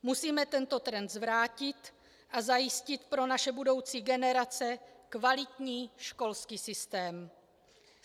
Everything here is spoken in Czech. Musíme tento trend zvrátit a zajistit pro naše budoucí generace kvalitní školský systém.